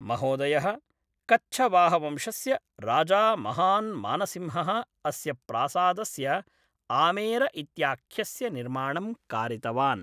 महोदयः कच्छवाहवंशस्य राजा महान् मानसिंहः अस्य प्रासादस्य आमेर इत्याख्यस्य निर्माणं कारितवान्